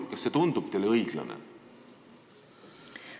Kas see tundub teile õiglane?